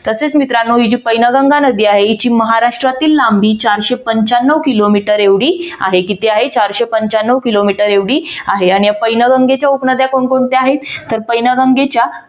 तसेच मित्रांनो ही पैनगंगा नदी आहे हिची महाराष्ट्रातील लांबी चारशे पंचाण्णव किलोमीटर एवढी आहे. किती आहे? चारशे पंचाण्णव किलोमीटर एवढी आहेआणि या पैनगंगेच्या उपनद्या कोण कोणत्या आहेत? तर पैनगंगेच्या